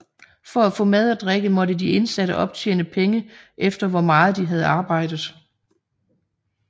For at få mad og drikke måtte de indsatte optjene penge efter hvor meget de havde arbejdet